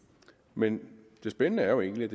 men det spændende er jo egentlig at